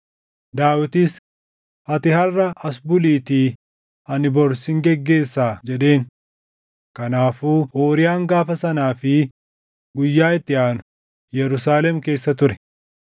Daawit, “Ati harʼas as buliitii ani bor sin geggeessaa” jedheen. Kanaafuu Uuriyaan gaafa sanaa fi guyyaa itti aanu Yerusaalem keessa ture.